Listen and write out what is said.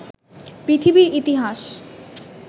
পৃথিবীর ইতিহাস